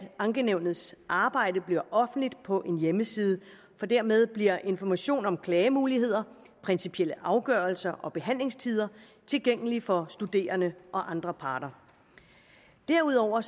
ankenævnets arbejde bliver offentligt på en hjemmeside for dermed bliver information om klagemuligheder principielle afgørelser og behandlingstider tilgængelige for studerende og andre parter derudover